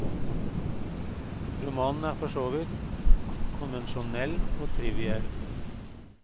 Romanen er for så vidt konvensjonell og triviell.